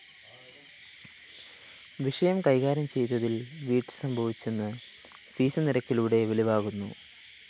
വിഷയം കൈകാര്യം ചെയ്തതില്‍ വീഴ്ച സംഭവിച്ചെന്ന് ഫീസ്‌ നിരക്കിലൂടെ വെളിവാകുന്നു